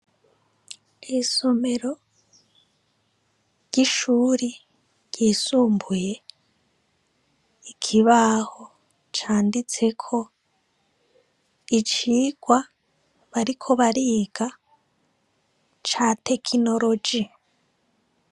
Isomero ry'ishuri ryisumbuye, ikibaho canditseko icigwa bariko bariga ca tekinoroji.